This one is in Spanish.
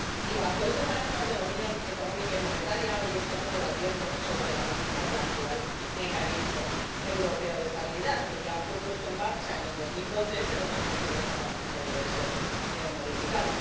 Y bajo este paraguas de la Unión Económica y Monetaria hoy estamos debatiendo sobre la reforma del actual Mecanismo Europeo de Estabilidad, que ya fue puesto en marcha en el 2012 pero que, a juicio de este Parlamento, debe ser modificado.